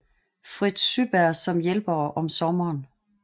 Fritz Syberg som hjælpere om sommeren